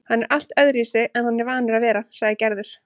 Hann er allt öðruvísi en hann er vanur að vera, sagði Gerður.